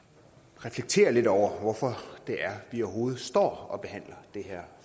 reflektere lidt over hvorfor det er vi overhovedet står og behandler det her